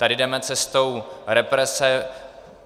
Tady jdeme cestou represe.